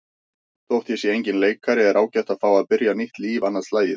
Þótt ég sé enginn leikari er ágætt að fá að byrja nýtt líf annað slagið.